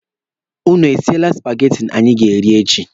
Ụnụ esiele supageti anyị ga-eri echi?